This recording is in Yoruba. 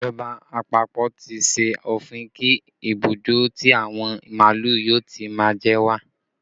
Ìjọba àpapọ̀ tí ṣe òfin kí ibùdó tí àwọn màálù yóò ti má jẹ ó wà